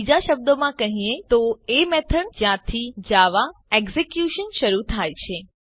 બીજા શબ્દોમાં કહીએ તો એ મેથડ જ્યાંથી જાવા એક્ઝેક્યુશન શરુ થાય છે